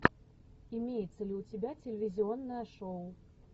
имеется ли у тебя телевизионное шоу